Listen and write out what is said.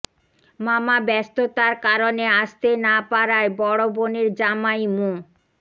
মামা ব্যস্ততার কারণে আসতে না পারায় বড়ো বোনের জামাই মো